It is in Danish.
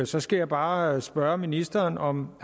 så skal jeg bare spørge ministeren om